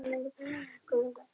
Tekur þú svo dósina aftur?